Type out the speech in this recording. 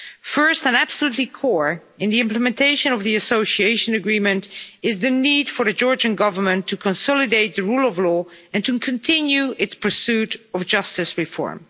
First and absolutely core in the implementation of the Association Agreement is the need for the Georgian Government to consolidate the rule of law and to continue its pursuit of justice reform.